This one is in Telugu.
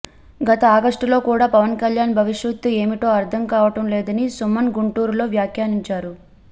గత ఆగస్టులో కూడా పవన్ కళ్యాణ్ భవిష్యత్తు ఏమిటో అర్థం కావటం లేదని సుమన్ గుంటూరులో వ్యాఖ్యానించారు